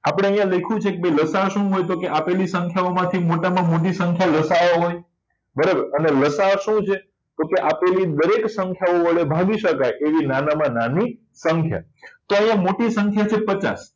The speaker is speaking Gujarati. પણે અહીંયા લખ્યું છે કે ભઈ શું લસાઅ શું મળતો કે આપેલી સંખ્યાઓનો મોટામાં મોટી સંખ્યા લસાઅ હોય અને લસાઅ શું છે તો આપેલી દરેક સંખ્યાઓનો એવી ભાગી શકાય એવી નાનામાં નાની સંખ્યા તો એ મોટી સંખ્યા છે પચાસ